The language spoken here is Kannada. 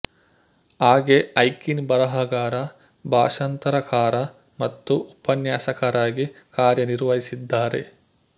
ಹಾಗೆ ಐಕಿನ್ ಬರಹಗಾರ ಭಾಷಂತರಕಾರ ಮತ್ತು ಉಪನ್ಯಾಸಕರಾಗಿ ಕಾರ್ಯ ನಿರ್ವಹಿಸಿದ್ದಾರೆ